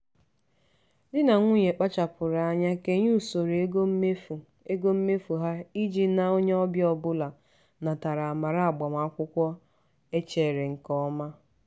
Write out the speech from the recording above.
di na nwunye kpachapụrụ anya kenye usoro ego mmefu ego mmefu ha iji na onye ọbịa ọbụla natara amara agbamakwụkwọ e chere nke ọma.